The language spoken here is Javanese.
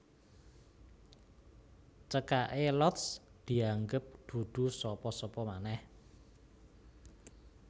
Cekaké Lotz dianggep dudu sapa sapa manèh